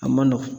A man nɔgɔn